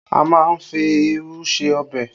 A má ń fi irú ṣe ọbẹ̀